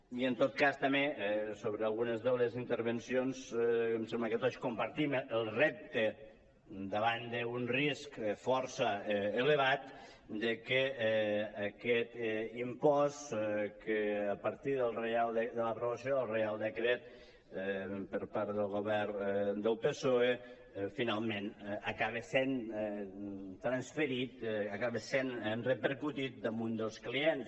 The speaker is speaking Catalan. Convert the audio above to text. i en tot cas també sobre algunes de les intervencions em sembla que tots com·partim el repte davant d’un risc força elevat de que aquest impost que a partir de l’aprovació del reial decret per part del govern del psoe finalment acabe sent transferit acabe sent repercutit damunt dels clients